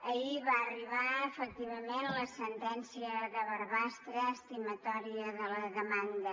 ahir va arribar efectivament la sentència de barbastre estimatòria de la demanda